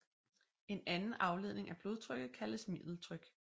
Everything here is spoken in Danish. En anden afledning af blodtrykket kaldes middeltryk